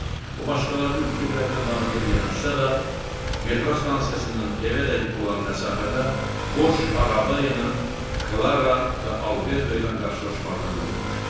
O başqalarının fikirlərinə laqeyd yanaşsa da metro stansiyasından evədək olan məsafədə boş araba ilə Klara və Alberto ilə qarşılaşmaqdan qorxmuşdu.